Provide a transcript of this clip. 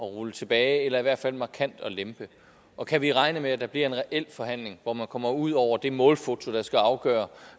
rulle tilbage eller i hvert fald markant at lempe og kan vi regne med at der bliver en reel forhandling hvor man kommer ud over det målfoto der skal afgøre